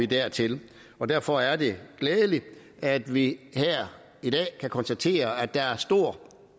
dertil derfor er det glædeligt at vi her i dag kan konstatere at der er stor